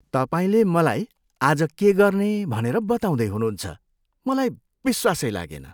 तपाईँले मलाई आज के गर्ने भनेर बताउँदै हुनुहुन्छ। मलाई विश्वासै लागेन।